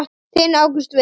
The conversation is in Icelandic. Þinn Ágúst Viðar.